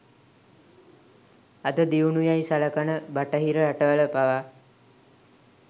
අද දියුණු යැයි සලකන බටහිර රටවල පවා